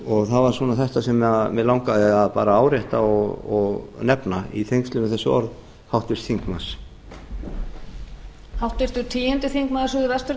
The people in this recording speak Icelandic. það var svona þetta sem mig langaði bara til að árétta og nefna í tengslum við þessi orð háttvirts þingmanns